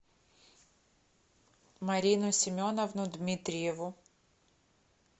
марину семеновну дмитриеву